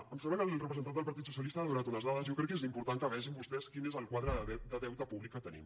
em sembla que el representant del partit socialista ha donat unes dades jo crec que és important que vegin vostès quin és el quadre de deute públic que tenim